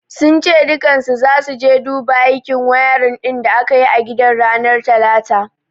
Sun ce dukkansu zasu je su dabu aikin wayarin din da aka yi a gidan ranar talata.